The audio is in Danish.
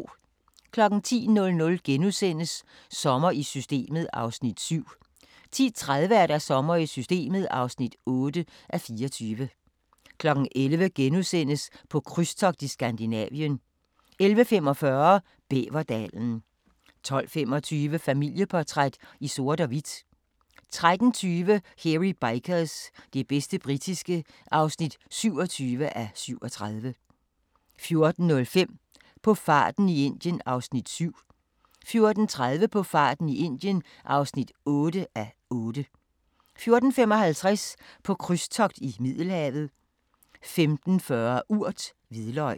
10:00: Sommer i Systemet (7:24)* 10:30: Sommer i Systemet (8:24) 11:00: På krydstogt i Skandinavien * 11:45: Bæverdalen 12:25: Familieportræt i sort og hvidt 13:20: Hairy Bikers – det bedste britiske (27:37) 14:05: På farten i Indien (7:8) 14:30: På farten i Indien (8:8) 14:55: På krydstogt i Middelhavet 15:40: Urt: Hvidløg